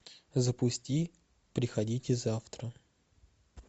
запусти приходите завтра